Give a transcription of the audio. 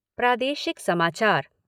प्रादेशिक समाचार